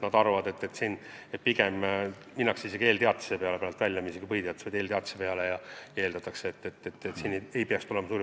Nad arvavad, et pigem minnakse isegi eelteatise peale välja – mitte põhiteatise, vaid eelteatise peale – ja suuri probleeme ei tohiks tulla.